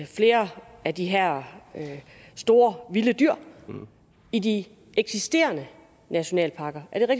flere af de her store vilde dyr i de eksisterende nationalparker er det